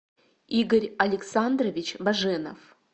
игорь александрович баженов